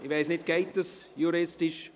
Ich weiss nicht: Geht das juristisch?